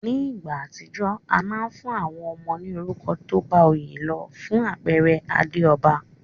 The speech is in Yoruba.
Ní ìgbà àtijó, a ma n fún àwon ọmọ ní orúkọ tóbá oyé lo. Fún àpere Adéòba